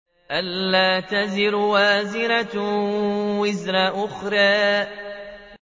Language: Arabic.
أَلَّا تَزِرُ وَازِرَةٌ وِزْرَ أُخْرَىٰ